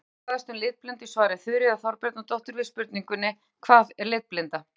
Meira má fræðast um litblindu í svari Þuríðar Þorbjarnardóttur við spurningunni Hvað er litblinda?